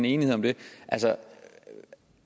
enighed om det